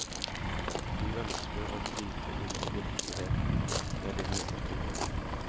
Du ønsker å gripe inn i virkeligheten med din litteratur.